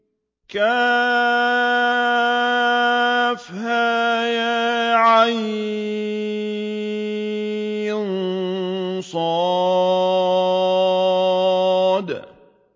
كهيعص